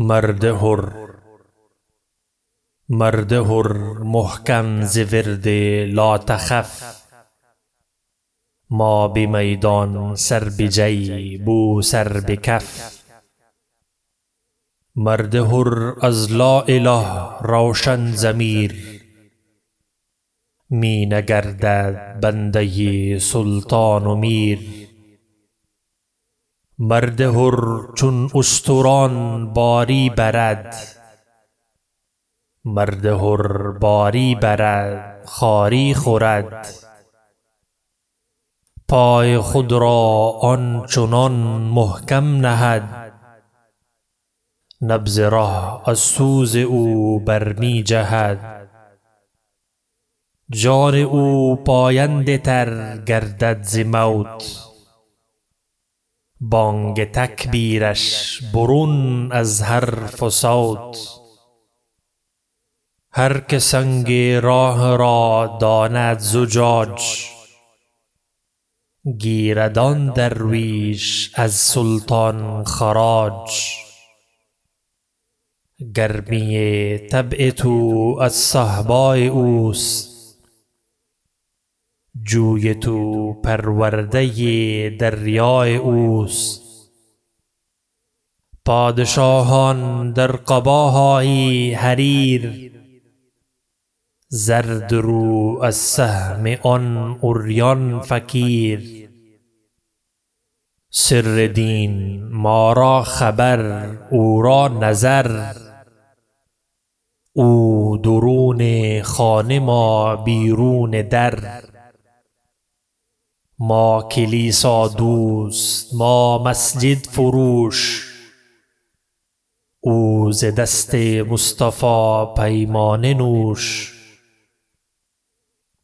مرد حر محکم ز ورد لاتخف ما به میدان سر به جیب او سر به کف مرد حر از لااله روشن ضمیر می نگردد بنده سلطان و میر مرد حر چون اشتران باری برد مرد حر باری برد خاری خورد پای خود را آن چنان محکم نهد نبض ره از سوز او بر می جهد جان او پاینده تر گردد ز موت بانگ تکبیرش برون از حرف و صوت هر که سنگ راه را داند زجاج گیرد آن درویش از سلطان خراج گرمی طبع تو از صهبای اوست جوی تو پرورده دریای اوست پادشاهان در قباهای حریر زرد رو از سهم آن عریان فقیر سر دین ما را خبر او را نظر او درون خانه ما بیرون در ما کلیسا دوست ما مسجد فروش او ز دست مصطفی پیمانه نوش